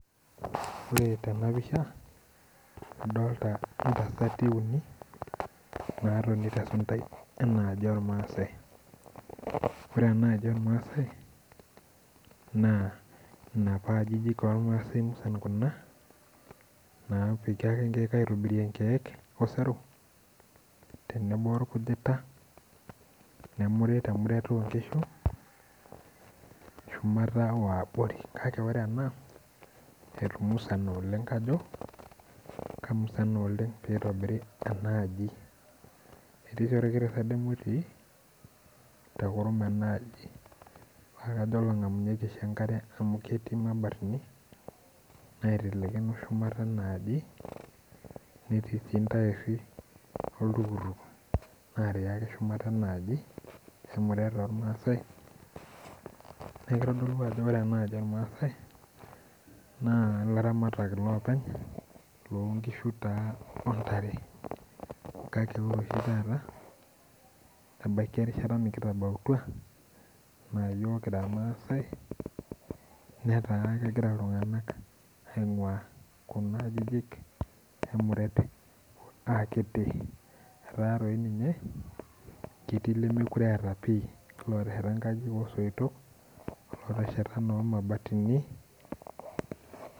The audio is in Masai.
Ore tenapisha, adolta intasati uni, natoni tesuntai enaaji ormaasai. Ore enaaji ormaasai, naa inapa ajijik ormaasai musan kuna, napiki ake nkeek aitobirie nkeek osero, tenebo orkujita, nemuri temuret onkishu, shumata wabori. Kake ore ena, etumusana oleng kajo kamusana oleng pitobiri enaaji. Etii si orkiti serdem otii, tekurum enaaji. Pakajo olang'amunyeki oshi enkare amu ketii mabatini, naitelekino shumata enaaji, netii si ntairri oltukutuk natii ake shumata enaaji emuret ormaasai. Neeku kitodolu ajo ore enaaji ormaasai, naa ilaramatak iloopeny lonkishu taa ontare. Kake ore oshi taata, ebaiki erishata nikitabautua, enaa yiok kira irmaasai, netaa kegira iltung'anak aing'ua kuna ajijik emuret akiti. Etaa toi ninye, ketii lemekure eeta pi etesheta nkajijik osoitok, lotesheta nomabatini.